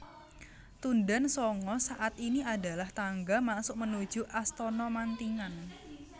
Tundan Sanga saat ini adalah tangga masuk menuju Astana Mantingan